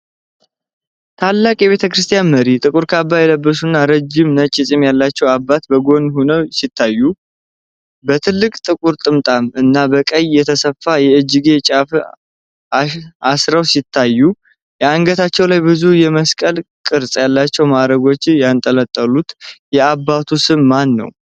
ታላቅ የቤተክርስቲያን መሪ፣ ጥቁር ካባ የለበሱና ረጅም ነጭ ጢም ያላቸው አባት በጎን ሆነው ሲታዩ፣ በትልቅ ጥቁር ጥምጣም እና በቀይ የተሰፋ የእጅጌ ጫፍ አሽረው ይታያሉ። አንገታቸው ላይ ብዙ የመስቀል ቅርጽ ያላቸው ማዕረጎች ያንጠለጠሉ። የአባቱ ስም ማን ነው?